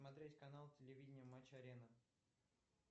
смотреть канал телевидения матч арена